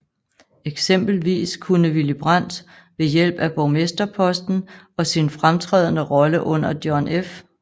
Eksempelvis kunne Willy Brandt ved hjælp af borgmesterposten og sin fremtrædende rolle under John F